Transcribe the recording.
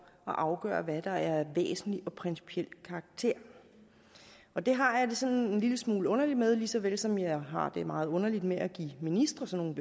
at afgøre hvad der er af væsentlig og principiel karakter og det har jeg det sådan en lille smule underligt med lige så vel som jeg har det meget underligt med at give ministre sådan